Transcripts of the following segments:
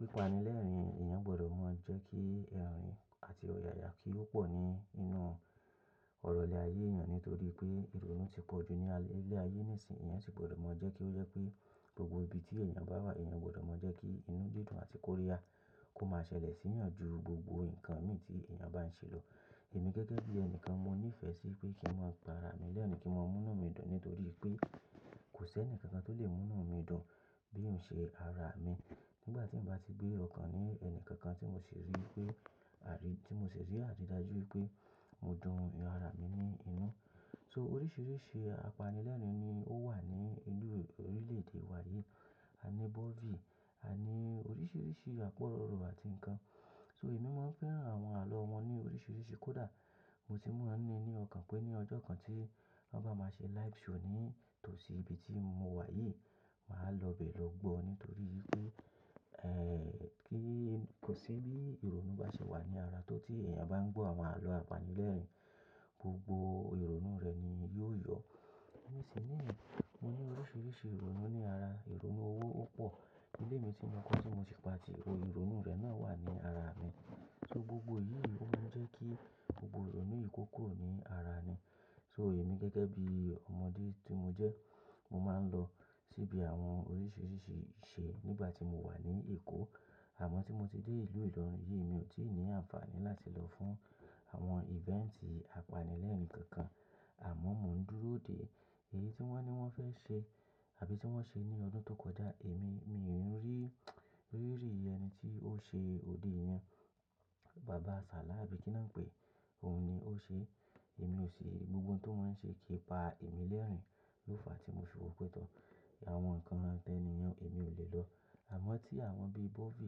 Pipànilẹ́rìn-ín èèyàn gbọ́dọ̀ máa jẹ́ kí ẹ̀rín àti ọ̀yàyà kí ó pọ̀ ní inú ọ̀rọ̀ ilé ayé èèyàn nítorí pé ìrònú ti pọ̀ ju ní alẹ́ ayé nísìnyí. Ẹ̀yàn sì gbọ́dọ̀ mọ jẹ́ kí ó jẹ́ pé gbogbo ibi tí èèyàn bá wà, èèyàn gbọ́dọ̀ mọ jẹ́ kí inú dídùn àti kòríyà kó máa ṣẹlẹ̀ sí ìyàn ju gbogbo ǹkan mì tí èèyàn bá ń ṣe lọ. Èmi gẹ́gẹ́ bí ẹni kan mo níìfẹ̀ sí pé kí n máa pà ara mi lẹ́rìn-ín kí n máa múna mi dùn nítorí pé kò sí ẹnìkankan tó lè múna mi dùn bí n ṣe ara mi. Nígbà tí mo bá ti gbé ọkàn mi òun kankan tí mo sì rí pé àrí, tí mo sì rí àrí dájú pé mo dùn ara mi ní inú. So oríṣiríṣi apanilẹ́rìn-ín ni ó wà ní inú orílẹ̀-èdè wa yìí. A ní bọ́fì, a ní oríṣiríṣi àpo orò àti ǹkan. So èmi máa ń fẹ́ran àwọn àlọ́ wọn ní oríṣiríṣi kódà mo ti mọ̀ òn ní, ní ọkàn pé ní ọjọ́ kan tí wọ́n bá máa ṣe live show ní tòsí ibi tí mo wà yìí, màá lọ bẹ̀ lọ gbọ́ nítorí pé, ẹ́, kí kò sí bí ìrònú bá ṣe wà ní ara tó tí èèyàn bá ń gbọ̀ àwọn àlọ́ apanilẹ́rìn-ín, gbogbo ìrònú rẹ̀ ni yóò yọ. Èmi sì ní, mo ní oríṣiríṣi ìrònú ní ara. Ìrònú owó ó pọ̀. Ilé mi tí mo kọ́ tí mo ti pa tì, ìrònú rẹ̀ náà wà ní ara mi. So gbogbo yìí ó máa ń jẹ́ kí gbogbo ìrònú yiì kókó ó ní ara ni. So èmi gẹ́gẹ́ bí ọmọdé tí mo jẹ́, mo máa ń lọ síbi àwọn oríṣiríṣi ìṣe nígbà tí mo wà ní Èkó. Àmọ́ tí mo ti dé ìlú ìlọrin yìí mi ò tí ì ní àǹfààní láti lọ fún àwọn event apanilẹ́rìn-ín kankan. Àmọ́ mò ń dúró dè èyí tí wọ́n ní wọ́n fẹ́ ṣe àbí tí wọ́n ṣe ní ọdún tó kọjá. Èmi, mi ò rí, rí rí ẹni tí ó ṣe òde ìyàn. Bàbá Ṣàlá àbí kí ni wọ́n ń pè, òun ni ó ṣe. Èmi ò ṣe gbogbo ohun tó máa ń ṣe kí pa èmi lẹ́rìn-ín. Lófa tí mo fiwò pẹ́ tọ́, àwọn ǹkan lẹ́niyẹ̀n èmi ò lè lọ. Àmọ́ tí àwọn bí bọ́fì,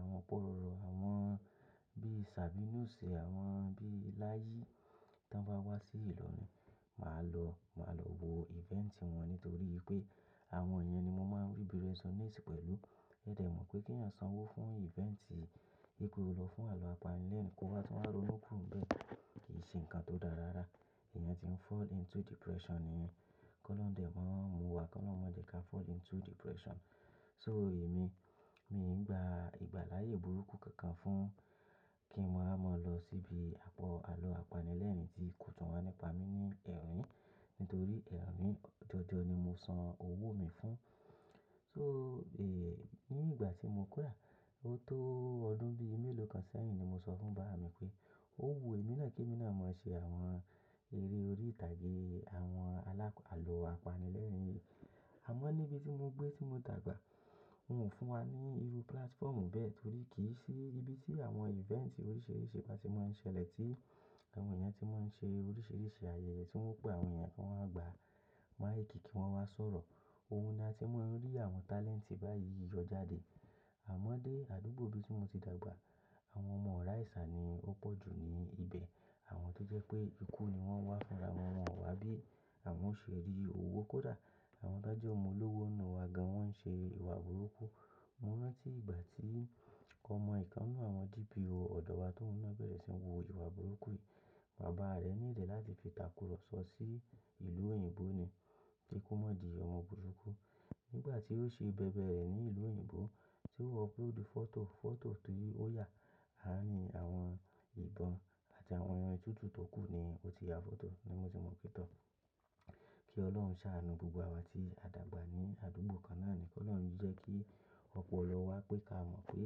àwọn ọ̀pọ̀ orò, àwọn bí Ṣàbínù ṣe, àwọn bí láyì tí wọ́n bá wá sí ìlọrin, màá lọ, màá lọ wo event wọn nítorí pé àwọn èèyàn ni mo máa ń ríbi rẹ sonéèsì pẹ̀lú. Ẹ dẹ̀ mọ̀ pé kí ẹ̀yàn sanwó fún event, pe ko lọ fún àwọ́n apanilẹ́rìn-ín kó wá tún wá ronú kúro nbẹ́ẹ̀ kì í ṣe ǹkan tó dára rárá. Ẹ̀yàn tí ń fall into depression nìyẹn. Kọ́ lọ́n dẹ̀ máa ń mu wa kọ́ lọ́n ma jẹ̀ ka fall into depression. So èmi, mi ń gba ìgbà láyé burúkú kankan fún kí mo wá máa lọ síbi àpọ̀ àlọ́ apanilẹ́rìn-ín tí kò tún wá nípa mi ní ẹ̀rín nítorí ẹ̀rín mi, jọọjọ ni mo san owó mi fún. So, è, ní ìgbà tí mo kúrà, ó tó ọdún bí i mélòó kan sẹ́yìn ni mo sọ fún bàbá mi pé, "Ó wu èmi náà kí èmi náà máa ṣe àwọn eré orí ìtàgé, àwọn alák-àlọ́ apanilẹ́rìn-ín yìí." Àmọ́ níbi tí mo gbé tí mo dàgbà, wọ́n ò fún wa ní irú platform bẹ́ẹ̀ torí kì í sí ibi tí àwọn event oríṣiríṣi bá ti máa ń ṣẹlẹ̀ tí àwọn èèyàn tí wọ́n ṣe oríṣiríṣi àyẹ̀yẹ̀ tí wọ́n pé àwọn èèyàn kí wọ́n wá gbà, máa kìi kí wọ́n wá sọ̀rọ̀. Ohun ni a tí máa ń rí àwọn talent báyìí yọ jáde. Àmọ́ dé àdúgbò bí tí mo ti dàgbà, àwọn ọmọ orà ìsà ni ó pọ̀ ju ni ibẹ̀. Àwọn tó jẹ́ pé ikú ni wọ́n wá fúnra, àwọn ọmọ àwàbí, àwọn ó ṣe rii òwó kódà. Àwọn tó jẹ́ ọmọ olówó inú wa gan wọ́n ń ṣe ìwà burúkú. Mo rántí ìgbà tí ọmọ ìkan nínú àwọn DPBO ọ̀dọ̀ wa tó ohun naá bẹ̀rẹ̀ sí ní wu iwà burúkú yìí. Bàbá rẹ̀ ní ìdẹ̀ láti fi ìtàkùrọ̀ sọ sí ìlú òyìnbó torí ko mọ̀ di ọmọ burúkú. Nígbà tí ó ṣe bẹ̀bẹ̀ rẹ̀ ní ìlú òyìnbó tí ó wọ pé odù fọ́tò, fọ́tò tí ó yà, àrá ni àwọn ìbọn àti àwọn ẹran tútù tó kú ni ó ti ya fọ́tò ni mo ti mọ̀ pé tọ́. Kí ọlọ́run ṣàánú gbogbo àwa tí a dàgbà ní àdúgbò kan náà ni. Kí ọlọ́run jẹ́ kí ọ̀pọ̀lọwá pé ká mọ̀ pé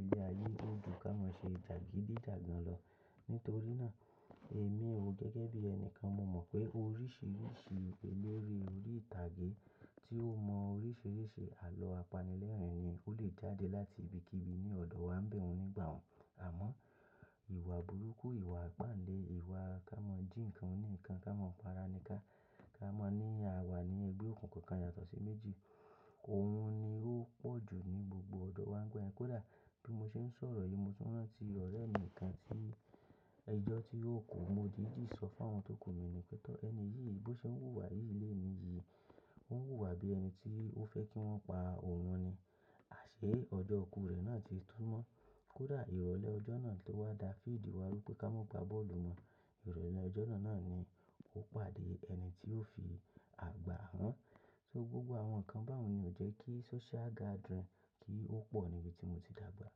ilẹ̀ ayé ò jú ká máa ṣe jàgídíjàgan lọ. Nítorí náà, èmi ò gẹ́gẹ́ bí ẹni kan mo mọ̀ pé oríṣiríṣi eléré orí ìtàgé tí ó mọ oríṣiríṣi àlọ́ apanilẹ́rìn-ín ni ó lè jáde láti ibikíbi ní ọ̀dọ̀ wa ń bẹ̀ un nígbà ùn Àmọ́ ìwà burúkú, ìwà ipáǹle, ìwà ká mọ̀ jí ǹkan ní ǹkan, ká mọ̀ pa ara ní ká, ká mọ̀ ní àwa nínu ẹgbẹ́ òkùnkùn kan yàtọ̀ sí méjì, òun ni ó pọ̀ ju ní gbogbo ọ̀dọ̀ wa ń gbà ẹ́. Kódà bí mo ṣe ń sọ̀rọ̀ yìí mo tún rántí ọ̀rẹ́ mi kan tí ijọ́ tí ó kú mo dì í dì sọ fún àwọn tó kú mi ní pé tọ́ ẹni yìí bó ṣe ń wùwà yìí léèní yìí, ó ń wùwà bí ẹni tí ó fẹ́ kí wọ́n pa òun ni. Àṣé ọjọ́ kú rẹ̀ náà ti túnúmọ́. Kódà ìrọ̀lẹ́ ọjọ́ náà tó wá da fiidi wá rú pé ká mọ̀ gba bọ́ọ̀lù mọ. Ìrọ̀lẹ́ ọjọ́ náà ni ó pàdé ẹni tí ó fi àgbà hàn. So gbogbo àwọn ǹkan báùn ni ò jẹ́ kí social gathering kí ó pọ̀ níbi tí mo ti dàgbà.